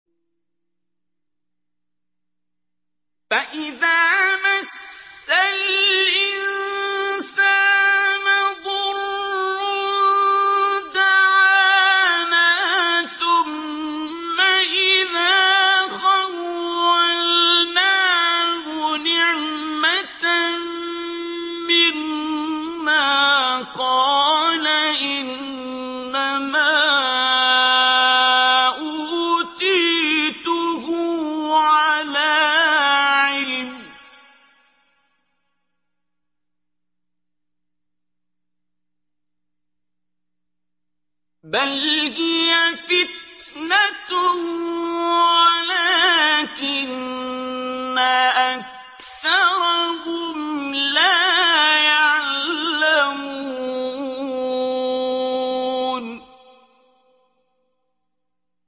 فَإِذَا مَسَّ الْإِنسَانَ ضُرٌّ دَعَانَا ثُمَّ إِذَا خَوَّلْنَاهُ نِعْمَةً مِّنَّا قَالَ إِنَّمَا أُوتِيتُهُ عَلَىٰ عِلْمٍ ۚ بَلْ هِيَ فِتْنَةٌ وَلَٰكِنَّ أَكْثَرَهُمْ لَا يَعْلَمُونَ